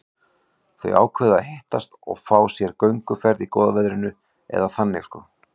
Þau ákváðu að hittast og fá sér gönguferð í góða veðrinu, eða þannig sko.